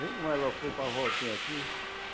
Vê como ela ocupa a voltinha aqui?